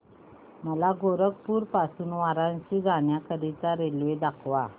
मला गोरखपुर पासून वाराणसी जाण्या करीता रेल्वे दाखवा